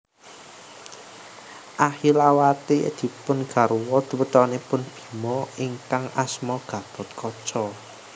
Ahilawati dipun garwa putranipun Bima ingkang asma Gathotkaca